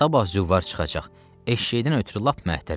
Sabah züvvar çıxacaq, eşşəydən ötrü lap məhtələm.